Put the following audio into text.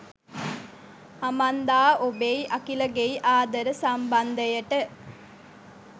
Amanda ඔබෙයි අකිලගෙයි ආදර සම්බන්ධයට